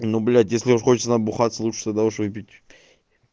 ну блять если уж хочется набухаться лучше тогда уж выпить